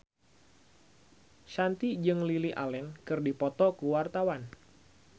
Shanti jeung Lily Allen keur dipoto ku wartawan